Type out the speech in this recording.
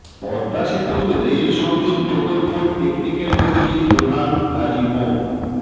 পদ্মা সেতুর রেল সংযোগ প্রকল্প টেকনিক্যাল কমিটির প্রধান কাজী মো